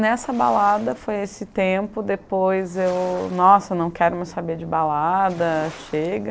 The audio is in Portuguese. Nessa balada foi esse tempo, depois eu, nossa, não quero mais saber de balada, chega.